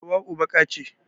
Hauwau baƙa ce